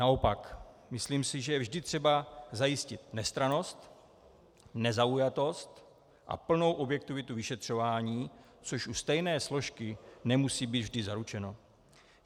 Naopak, myslím si, že vždy je třeba zajistit nestrannost, nezaujatost a plnou objektivitu vyšetřování, což u stejné složky nemusí být vždy zaručeno.